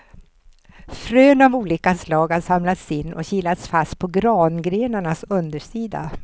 Frön av olika slag har samlats in och kilats fast på grangrenarnas undersida.